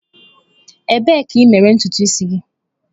Ebee ka i mere ntutu isi gị?